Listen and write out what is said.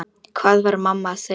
Hvað var mamma að segja?